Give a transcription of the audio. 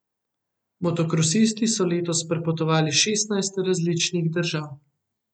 Motokrosisti so letos prepotovali šestnajst različnih držav.